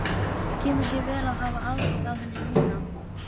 Kemur sér vel að hafa aðgang að henni núna!